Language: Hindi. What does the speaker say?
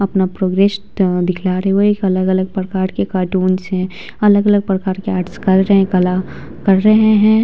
अपना प्रोग्रेसेड दिखला रहे वे एक अलग-अलग प्रकार के कार्टून्स है अलग-अलग प्रकार के आर्ट्स कर रहे हैं कला कर रहे हैं।